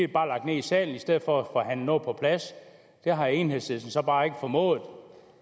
bare lagt ned i salen i stedet for at man noget på plads det har enhedslisten så bare ikke formået